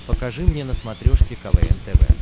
покажи мне на смотрешке квн тв